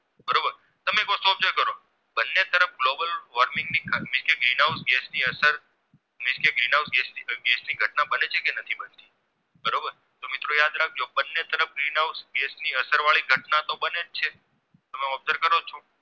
Worming ની ગરમી કે Green house ની અસર Green house gas ની ઘટના બને છે કે નથી બનતી બરોબર તો મિત્રો એટલું યાદ રાખજો બને તરફ gas ની અસર વળી ઘટના તો બને જ છે તમે object કરો છો